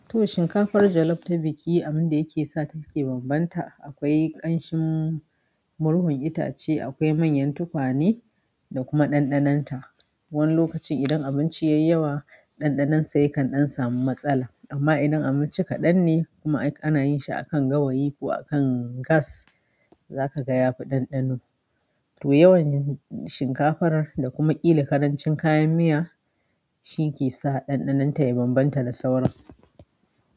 To shinkafar jollof ta biki abinda yake sa take bambanta akwai ƙanshin murhun itace, akwai manyan tukwane da kuma ɗanɗanonta. Wani lokacin idan abinci ya yi yawa ɗanɗanonsa yakan ɗan samu matsala, amma idan abinci kaɗan ne kuma ana yin shi a kan gawayi ko a kan gas za ka ga yafi ɗanɗano. To, yawanci shinkafar da kuma ƙila ƙarancin kayan miya shi ke sa ɗanɗanon ta ya bambanta da sauran.